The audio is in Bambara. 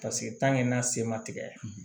n'a se ma tigɛ